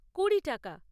কুড়ি টাকা।